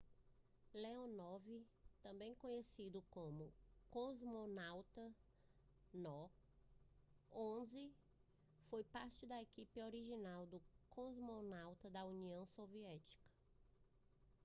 leonov também conhecido como cosmonauta no 11 foi parte da equipe original de cosmonautas da união soviética